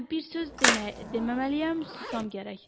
Hə, bir söz deməməliyəm, susam gərək.